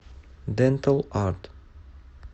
дэнтал арт